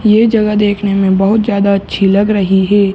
ये जगह देखने में बहुत ज्यादा अच्छी लग रही हे ।